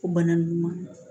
O bana ninnu